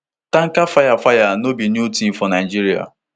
tanker fire fire no be new tin for nigeria